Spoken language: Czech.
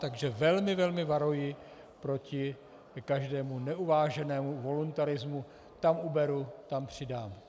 Takže velmi, velmi varuji proti každému neuváženému voluntarismu - tam uberu, tam přidám.